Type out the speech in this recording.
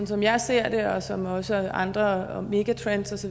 som jeg ser det og som også andre megatrends